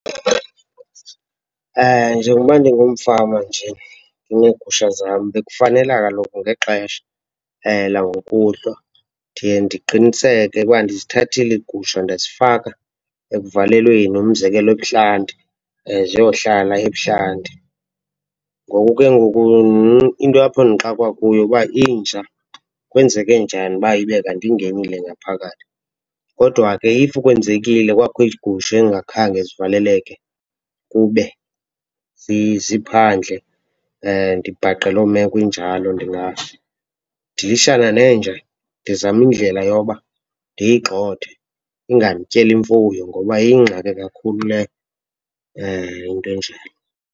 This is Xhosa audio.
Njengokuba ndingumfama nje ndineegusha zam bekufanela kaloku ngexesha langokuhlwa ndiye ndiqiniseke uba ndizithathile iigusha ndazifaka ekuvalelweni, umzekelo ebuhlanti ziyohlala ebuhlanti. Ngoku ke ngoku into apho ndixwakwa kuyo uba inja kwenzeke njani uba ibe kanti ingenile ngaphakathi. Kodwa ke if kwenzekile kwakho iigusha ezingakhange zivaleleke kube ziphandle , ndibhaqe loo meko injalo, ndingadilishana nenja, ndizame indlela yoba ndiyigxothe ingandityeli imfuyo ngoba yingxaki kakhulu leyo, into enjalo.